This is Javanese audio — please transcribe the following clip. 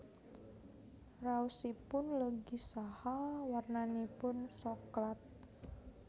Raosipun legi saha warnanipun soklat